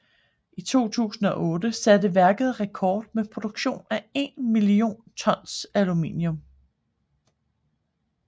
I 2008 satte værket rekord med produktion af 1 million tons aluminium